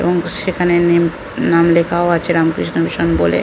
এবং সেখানে নেম নাম লেখাও আছে রামকৃষ্ণ মিশন বলে--